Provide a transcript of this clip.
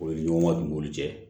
O ye ɲɔgɔn ka dugukolo cɛ